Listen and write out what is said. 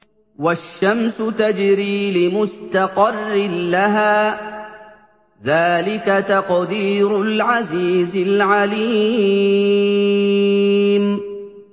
وَالشَّمْسُ تَجْرِي لِمُسْتَقَرٍّ لَّهَا ۚ ذَٰلِكَ تَقْدِيرُ الْعَزِيزِ الْعَلِيمِ